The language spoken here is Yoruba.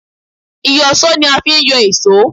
Ìyọ̀ṣó ni a fi ń yọ èṣó